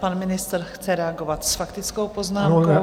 Pan ministr chce reagovat s faktickou poznámkou.